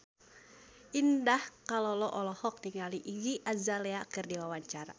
Indah Kalalo olohok ningali Iggy Azalea keur diwawancara